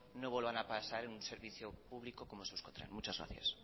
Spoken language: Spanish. no vuelvan a pasar en un servicio público como es euskotren muchas gracias